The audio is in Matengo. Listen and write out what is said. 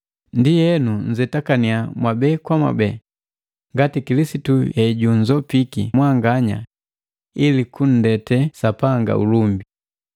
Ndienu, nnzetakannya mwabe kwa mwabeti ngati Kilisitu hejunzopiki mwanganya ili kunndete Sapanga ulumbi.